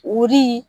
Odi